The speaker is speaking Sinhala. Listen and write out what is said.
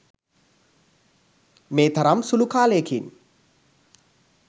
මේ තරම් සුළු කාලයකින්